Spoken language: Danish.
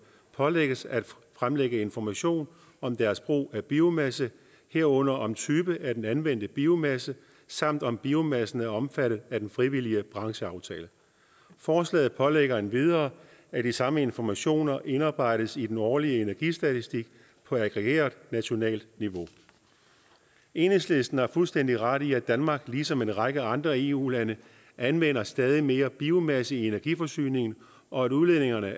pålægges at fremlægge information om deres brug af biomasse herunder om typen af den anvendte biomasse samt om biomassen er omfattet af den frivillige brancheaftale forslaget pålægger endvidere at de samme informationer indarbejdes i den årlige energistatistik på aggregeret nationalt niveau enhedslisten har fuldstændig ret i at danmark ligesom en række andre eu lande anvender stadig mere biomasse i energiforsyningen og at udledningerne